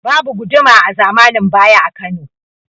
Babu Guduma a zamanin baya a Kano